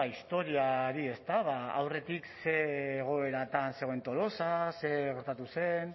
historiari ezta aurretik ze egoeratan zegoen tolosa zer gertatu zen